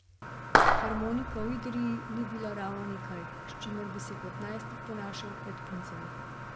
Harmonika v Idriji ni bila ravno nekaj, s čimer bi se kot najstnik ponašal pred puncami.